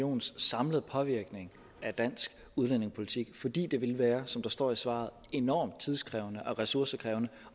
unions samlede påvirkning af dansk udlændingepolitik fordi det ville være som der står i svaret enormt tidkrævende og ressourcekrævende